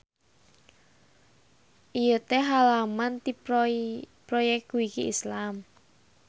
Ieu teh halaman ti Proyekwiki Islam.